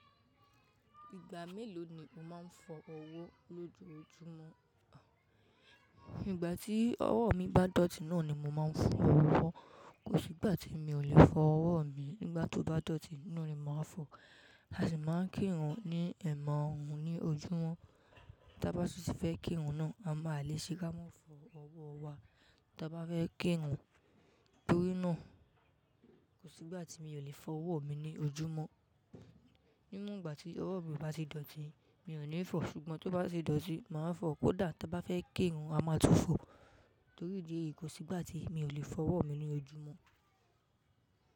Ìgbà mélòó ni o máa ń fọ ọ̀wọ́ lójoojúmọ́? Igbà tí ọwọ́ mi bá dọ̀tí náà ni mo máa ń fọ ọ̀wọ́. Kò sí ìgbà tí mi ò le fọ ọ̀wọ́ mi. Nígbà tó bá dọ̀tí, ná ni mo máa ń fọ. A sì máa ń kìrun ní ẹ̀maàrun ní ojúmọ́. Tí a bá sì fẹ́ kìrun náà, a máa- a leè ṣe ká mọ́ fọ ọ̀wọ́ wa. Tí a bá fẹ́ kìrun torí náà, kò sí ìgbà tí mi ò le fọ ọ̀wọ́ mi ní ojúmọ́. Ní won ìgbà tí ọwọ́ mi o bá ti dọ̀tí, mi ò ní fọ̀, ṣùgbọ́n tó bá ti dọ̀tí, mà á fọ̀. Kódà tí a bá fẹ́ kìrun, a máa tún fọ. Torí idí èyi, kò sí ìgbà tí mi ò le fọ ọ̀wọ́ mi ní ojúmọ́.